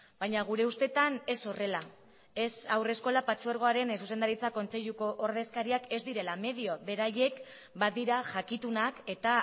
baina gure ustetan ez horrela ez haurreskola patzuergoaren zuzendaritza kontseiluko ordezkariak ez direla medio beraiek badira jakitunak eta